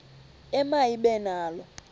ema ibe nalo